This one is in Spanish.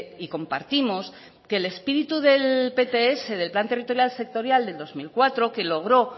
y compartimos que el espíritu del pts del plan territorial sectorial del dos mil cuatro que logró